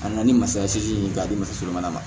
A na na ni masaya si ye k'a di muso ma